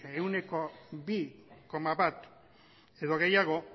ehuneko bi koma bat edo gehiago